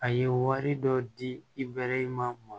A ye wari dɔ di i bɛlɛ in maa mɔn